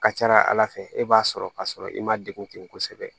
Ka ca ala fɛ e b'a sɔrɔ ka sɔrɔ i ma degun ten kosɛbɛ